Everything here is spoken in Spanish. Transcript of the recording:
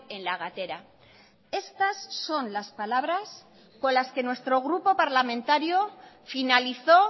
en la gatera estas son las palabras con las que nuestro grupo parlamentario finalizó